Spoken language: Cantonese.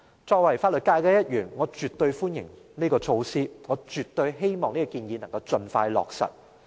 作為法律界的一員，我絕對歡迎這項措施，我絕對希望這項建議能夠盡快落實。